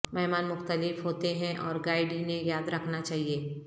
مہمان مختلف ہوتے ہیں اور گائیڈ انہیں یاد رکھنا چاہیے